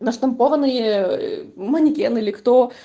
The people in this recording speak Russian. на штампованные ээ манекен или кто